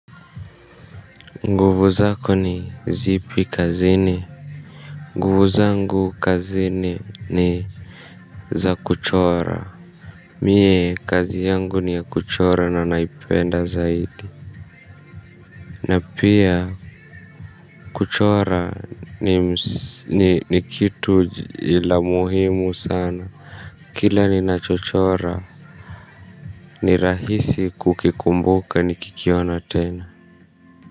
Nguvu zako ni zipi kazini. Nguvu zangu kazini ni za kuchora Mie kazi yangu ni ya kuchora na naipenda zaidi na pia kuchora ni kitu la muhimu sana. Kila ninachochora ni rahisi kukikumbuka nikikiona tena.